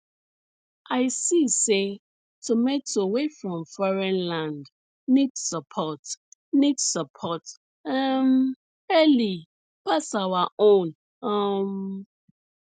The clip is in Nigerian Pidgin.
i see say tomato wey from foreign land need support need support um early pass our own um